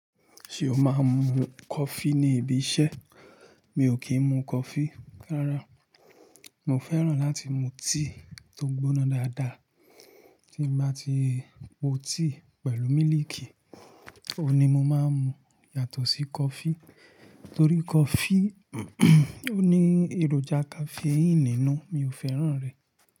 Ṣé o máa ń mu coffee ní ibi iṣẹ́? Mi ò kí ń mu coffee rárá. Mo fẹ́ràn láti mu tíì tó gbóná dáadáa. Tí n bá ti po tea pẹ̀lú mílìkì, òun ni mo máa ń mu yàtọ̀ sí coffee. Torí coffee ó ní èròjà caffeine nínú, mi ò fẹ́ràn rẹ̀.